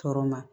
Tɔɔrɔ ma